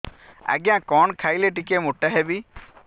ଆଜ୍ଞା କଣ୍ ଖାଇଲେ ଟିକିଏ ମୋଟା ହେବି